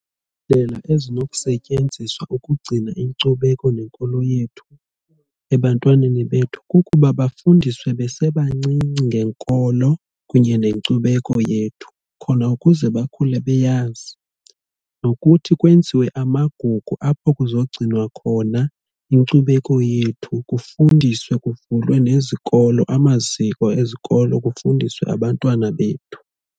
Iindlela ezinokusetyenziswa ukugcina inkcubeko nenkolo yethu ebantwaneni bethu kukuba bafundiswe besebancinci ngenkolo kunye nenkcubeko yethu khona ukuze bakhule beyazi. Nokuthi kwenziwe amagugu apho kuzogcinwa khona inkcubeko yethu kufundiswe kuvulwe nezikolo amaziko ezikolo kufundiswe abantwana bethu.